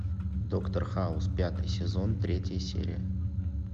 доктор хаус пятый сезон третья серия